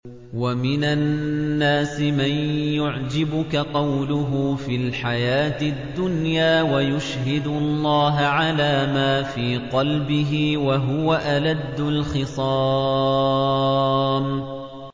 وَمِنَ النَّاسِ مَن يُعْجِبُكَ قَوْلُهُ فِي الْحَيَاةِ الدُّنْيَا وَيُشْهِدُ اللَّهَ عَلَىٰ مَا فِي قَلْبِهِ وَهُوَ أَلَدُّ الْخِصَامِ